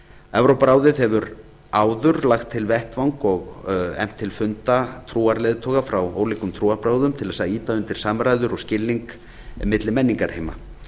evrópuráðið hefur áður lagt til vettvang og efnt til funda trúarleiðtoga frá ólíkum trúarbrögðum til þess að ýta undir samræður og skilning milli menningarheima